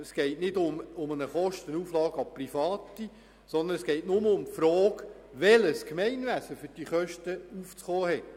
Es geht nicht um eine Überwälzung der Kosten an Private, sondern nur um die Frage, welches Gemeinwesen für die Kosten aufzukommen hat.